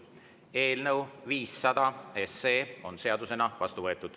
Eelnõu 500 on seadusena vastu võetud.